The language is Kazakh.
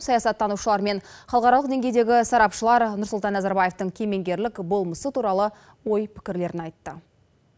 саясаттанушылар мен халықаралық деңгейдегі сарапшылар нұрсұлтан назарбаевтың кемеңгерлік болмысы туралы ой пікірлерін айтты